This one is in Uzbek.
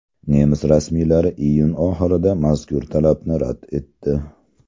Nemis rasmiylari iyun oxirida mazkur talabni rad etdi.